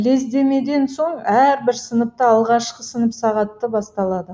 лездемеден соң әрбір сыныпта алғашқы сынып сағаты басталады